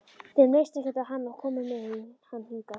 Þeim leist ekkert á hann og komu með hann hingað.